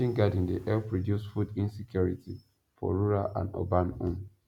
kitchen garden dey help reduce food insecurity for rural and urban home